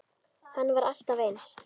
Hann var alltaf eins.